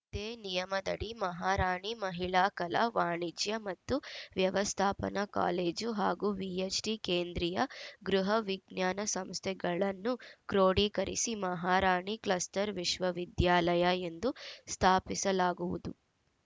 ಇದೇ ನಿಯಮದಡಿ ಮಹಾರಾಣಿ ಮಹಿಳಾ ಕಲಾ ವಾಣಿಜ್ಯ ಮತ್ತು ವ್ಯವಸ್ಥಾಪನಾ ಕಾಲೇಜು ಹಾಗೂ ವಿಎಚ್‌ಡಿ ಕೇಂದ್ರೀಯ ಗೃಹ ವಿಜ್ಞಾನ ಸಂಸ್ಥೆಗಳನ್ನು ಕ್ರೋಢೀಕರಿಸಿ ಮಹಾರಾಣಿ ಕ್ಲಸ್ಟರ್‌ ವಿಶ್ವವಿದ್ಯಾಲಯ ಎಂದು ಸ್ಥಾಪಿಸಲಾಗುವುದು